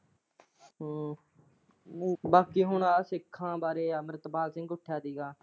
ਹਮ ਬਾਕੀ ਹੁਣ ਆ ਸਿੱਖਾਂ ਬਾਰੇ ਅੰਮ੍ਰਿਤਪਾਲ ਸਿੰਘ ਉੱਠਿਆ ਸੀਗਾ।